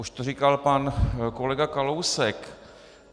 Už to říkal pan kolega Kalousek.